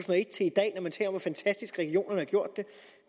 og hvor fantastisk regionerne har gjort det